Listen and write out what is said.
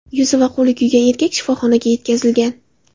Yuzi va qo‘li kuygan erkak shifoxonaga yetkazilgan.